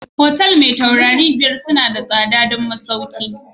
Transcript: Otal mai matakin taurari na biyar suna da tsada don masauki